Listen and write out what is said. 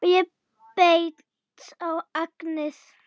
Og ég beit á agnið